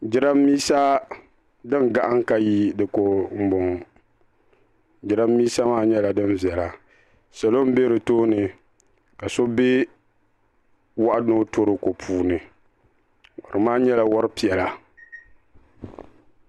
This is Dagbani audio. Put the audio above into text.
Jiran bisa din gahim ka yi diko. n bɔŋɔ .jiranbisa maa nyɛla din bela. salɔ n be di tooni. kaso be wahu toroko puuni wahu maa nyɛla wari piɛla.